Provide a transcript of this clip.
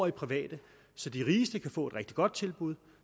det private så de rigeste kan få et rigtig godt tilbud